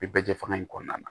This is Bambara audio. Bɛ bɛɛ jɛ fanga in kɔnɔna na